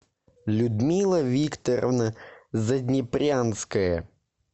людмила викторовна заднепрянская